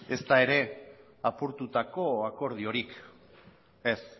ezta ere apurtutako akordiorik ez